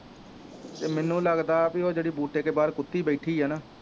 ਅਤੇ ਮੈਨੂੰ ਲੱਗਦਾ ਬਈ ਉਹ ਜਿਹੜੀ ਬੂਟੇ ਕੇ ਬਾਹਰ ਕੁੱਤੀ ਬੈਠੀ ਹੈ ਨਾ